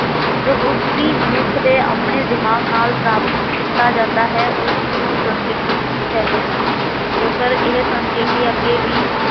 ਜੋ ਕੁਝ ਵੀ ਮਨੁੱਖ ਦੇ ਦਿਮਾਗ ਨਾਲ ਪ੍ਰਾਪਤ ਕੀਤਾ ਜਾਂਦਾ ਹੈ, ਉਸ ਨੂੰ ਸੰਸਕ੍ਰਿਤੀ ਕਹਿੰਦੇ ਹਨ। ਜੇਕਰ ਇਹ ਸੰਸਕ੍ਰਿਤੀ ਅਗੇ ਵੀ